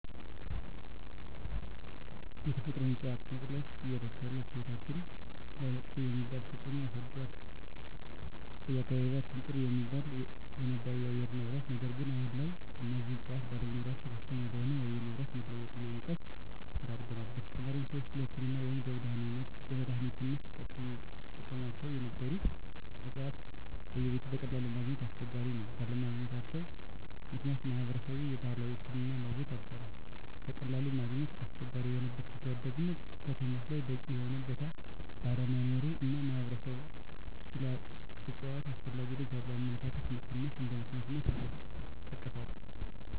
የተፈጥሮ እፅዋት መጥፍት የእለት እለት ህይወታችን ላይመጥፎ የሚባል ተፅእኖ አሳድሮል በአካባቢየችን ጥሩ የሚባል የነበረው የአየር ንብረት ነገር ግን አሁን ላይ እነዚህ እፅዋት ባለመኖራቸው ከፍተኛ ለሆነ የአየር ንብረት መለወጥ እና ሙቀት ተዳርገናል : በተጨማሪም ሰወች ለህክምና ወይም ለመድሐኒትነት ሲጠቀሞቸው ነበሩ እፅዋቶች በየቤቱ በቀላሉ ማገኘት አስቸጋሪ ነው ባለመገኘታቸው ምክንያት ማህበረሰብ የባህላዊ ሕክምና ማግኘት አልቻለም በቀላሉ ማግኘት አስቸጋሪ የሆነበት ምክንያት ደግሞ ከተሞች ላይ በቂ የሆነ ቦታ ባለመኖሩ እና ማህበረሰብ ስለ እፅዋት አስፈላጊነት ያለው አመለካከት መቀነስ እንደ ምክንያት ይጠቀሳሉ።